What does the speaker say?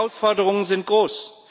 Die Herausforderungen sind groß.